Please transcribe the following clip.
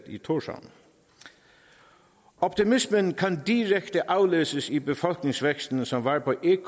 i thorshavn optimismen kan direkte aflæses i befolkningsvæksten som var på en